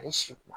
Ani si kuma